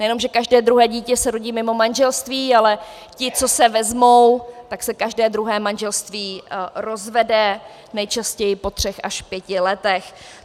Nejenom že každé druhé dítě se rodí mimo manželství, ale ti, co se vezmou, tak se každé druhé manželství rozvede, nejčastěji po třech až pěti letech.